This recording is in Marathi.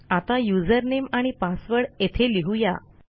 आता युझरनेम आणि पासवर्ड येथे लिहू या